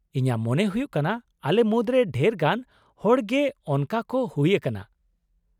ᱤᱧᱟᱹᱜ ᱢᱚᱱᱮ ᱦᱩᱭᱩᱜ ᱠᱟᱱᱟ ᱟᱞᱮ ᱢᱩᱫᱨᱮ ᱰᱷᱮᱨ ᱜᱟᱱ ᱦᱚᱲ ᱜᱮ ᱚᱱᱠᱟ ᱠᱚ ᱦᱩᱭ ᱟᱠᱟᱱᱟ ᱾